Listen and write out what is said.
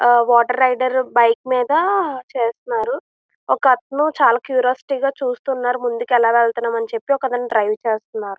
ఆ water rider bike మీద చేస్తున్నారు ఒక అతను చాలా క్యూరియాసిటీ గా చూస్తున్నారు ముందుకు ఎలా వెళ్తున్నామ్ అని చెప్పి ఒక అతను డ్రైవ్ చేస్నారు.